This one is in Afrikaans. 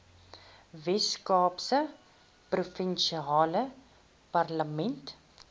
weskaapse provinsiale parlement